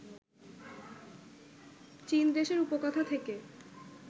চীনদেশের উপকথা থেকে